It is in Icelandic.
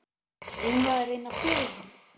Eigum við að reyna að fela hann?